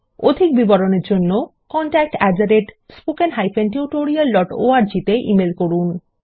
অধিক বিবরণের জন্য contactspoken tutorialorg তে ইমেল করুন